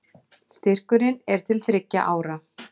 Styrkurinn er til þriggja ára